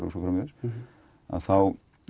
og svo framvegis að þá